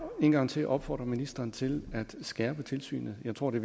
en gang til opfordre ministeren til at skærpe tilsynet jeg tror det